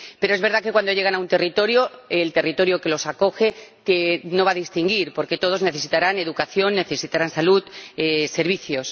Pero es verdad que, cuando llegan a un territorio, el territorio que los acoge no los va a distinguir, porque todos necesitarán educación, sanidad y servicios.